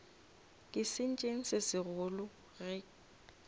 ke sentšeng se segolo ge